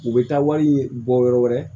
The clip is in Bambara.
U bɛ taa wari bɔ yɔrɔ wɛrɛ